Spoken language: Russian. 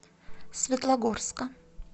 светлогорска